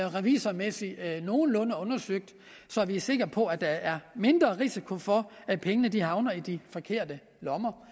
revisormæssigt nogenlunde undersøgt så vi er sikre på at der er mindre risiko for at pengene havner i de forkerte lommer